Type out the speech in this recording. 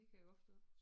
Det kan jeg godt forstå